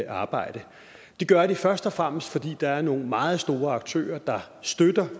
arbejde det gør de først og fremmest fordi der er nogle meget store aktører der støtter